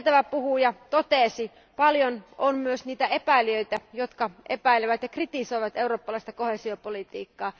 Kuten edeltävä puhuja totesi, paljon on myös niitä epäilijöitä, jotka epäilevät ja kritisoivat eurooppalaista koheesiopolitiikkaa.